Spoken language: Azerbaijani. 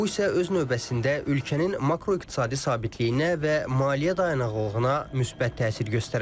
Bu isə öz növbəsində ölkənin makroiqtisadi sabitliyinə və maliyyə dayanaqlılığına müsbət təsir göstərə bilər.